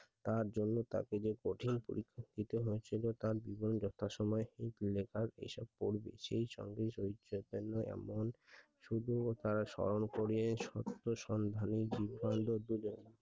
তার জন্য তাকে যে কঠিন পরিস্থিতি হয়েছিল তার দুজন যথা সময়ে এই লেখা এই সব করবে সেই সঙ্গে এমন তা স্মরণ করিয়ে সন্ধানের